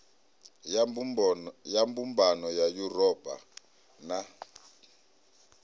ya mbumbano ya yuropa na